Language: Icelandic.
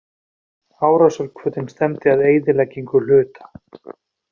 Árásarhvötin stefndi að eyðileggingu hluta.